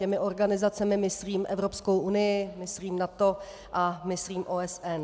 Těmi organizacemi myslím Evropskou unii, myslím NATO a myslím OSN.